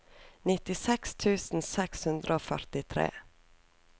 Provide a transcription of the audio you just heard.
nittiseks tusen seks hundre og førtitre